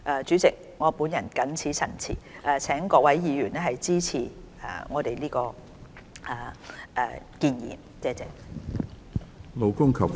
主席，我謹此陳辭，請各位議員支持原議案。